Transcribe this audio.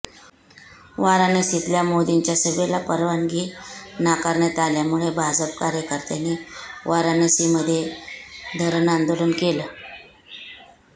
वाराणसीतल्या मोदींच्या सभेला परवानगी नाकारण्यात आल्यामुळे भाजप कार्यकर्त्यांनी वाराणसीमध्ये धरणं आंदोलन केलं